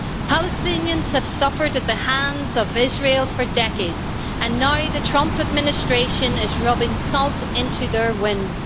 Palestinians have suffered at the hands of Israel for decades, and now the Trump administration is rubbing salt into their wounds.